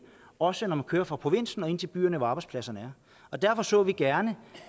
også når man kører fra provinsen og ind til byen hvor arbejdspladserne er derfor så vi gerne